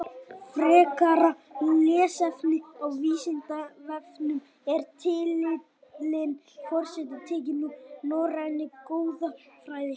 Frekara lesefni á Vísindavefnum Er titillinn forseti tekinn úr norrænni goðafræði?